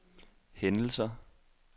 hændelser